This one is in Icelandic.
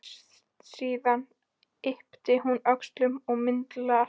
Síðan ypptir hún öxlum og mildast.